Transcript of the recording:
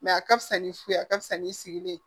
a ka fisa ni fu ye a ka fisa ni sigi de ye